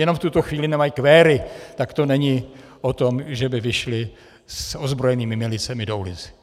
Jenom v tuto chvíli nemají kvéry, tak to není o tom, že by vyšli s ozbrojenými milicemi do ulic.